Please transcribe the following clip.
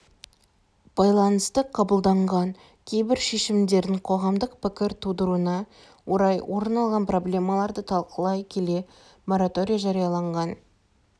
байланысты қабылданған кейбір шешімдердің қоғамдық пікір тудыруына орай орын алған проблемаларды талқылай келе мораторий жарияланған